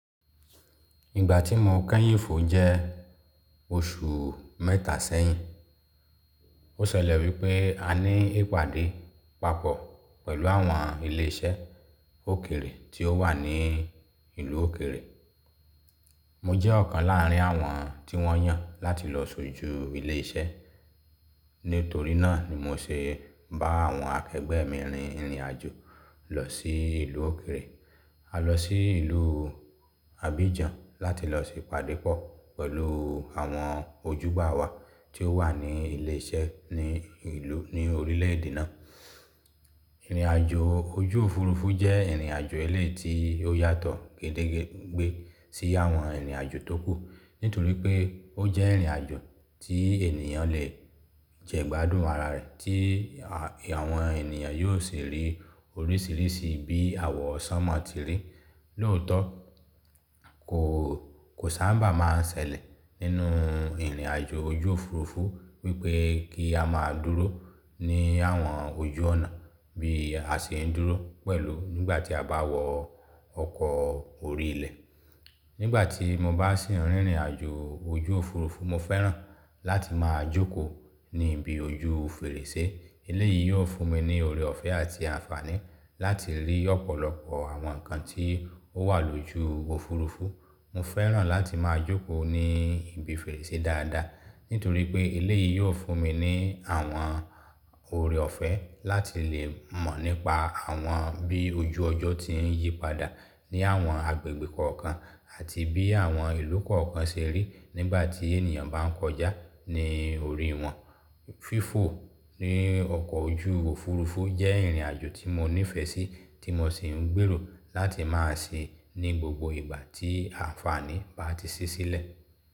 Ìgbà tí mo kẹ́yìn fò jẹ́ oṣù mẹ́ta sẹ́yìn. Ó ṣẹlẹ̀ wípé a ní ìpàdé pàpọ̀ pẹ̀lú àwọn ilé iṣẹ́ òkèrè tí ó wà ní ìlú òkèrè. Mo jẹ́ ọ̀kan láàrin àwọn tí wọ́n yàn láti lọ sójú ilé iṣẹ́. Nítorí náà ni mo se bá àwọn akẹgbẹ́ mi rin ìrìnàjò lọ sí ìlú òkèrè. A lọ sí ìlú Abidjan láti lọ ṣe ìpàdé pọ̀ pẹ̀lú àwọn ojúgbà wá tí ó wà ní ilé iṣẹ́ ní ìlú, ní orílẹ̀èdè náà. Ìrìnàjò ojú òfurufú jẹ́ ìrìnàjò eléyìí tí ó yàtọ̀ gédẹ́gbé sí àwọn ìrìnàjò tókù. Nítorí pé ó jẹ́ ìrìnàjò tí ènìyàn lè jẹ̀ gbádùn ara rẹ̀ tí àwọn ènìyàn yóò sì rí oríṣìíríṣìí bí àwọ̀ sánmá ti rí. Lóòtọ́ kò, kò sábà máa ń ṣẹlẹ̀ nínú ìrìnàjò ojú òfurufú wípé kí a máa dúró ní àwọn ojú ọ̀nà bí a ṣe ń dúró pẹ̀lú nígbà tí a bá wọ ọkọ̀ orí ilẹ̀. Nígbà tí mo bá sì ń rin ìrìnàjò ojú òfurufú, mo fẹ́ràn láti máa jókòó ní ibi ojú fèrèsé. Eléyìí yóò fún mi ní oore ọ̀fẹ́ àti àǹfààní láti rí ọ̀pọ̀lọpọ̀ àwọn nǹkan tí ó wà lójú òfurufú. Mo fẹ́ràn láti máa jókòó ní ibi fèrèsé dáadáa. Nítorí pé ilé yìí yóò fún mi ní àwọn oore ọ̀fẹ́ láti lè mọ̀ nípa àwọn bí ojú ọjọ́ ti ń yípadà ní àwọn agbègbè kọ̀ọ̀kan àti bí àwọn ìlú kọ̀ọ̀kan ṣe rí nígbà tí ènìyàn bá ń kọjá ní orí wọn. Fífò ní ọkọ̀ ojú òfurufú jẹ́ ìrìnàjò tí mo nífẹ̀ẹ́ sí tí mo sì ń gbèrò láti máa ṣe ní gbogbo ìgbà tí àǹfààní bá ti sí sílẹ̀.